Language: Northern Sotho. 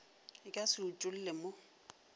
e ka se utolle mo